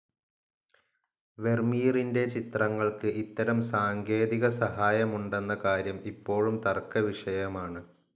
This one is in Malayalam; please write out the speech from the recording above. വെർമീറിൻ്റെ ചിത്രങ്ങൾക്ക് ഇത്തരം സാങ്കേതികസഹായമുണ്ടെന്ന കാര്യം ഇപ്പോഴും തർക്കവിഷയമാണ്.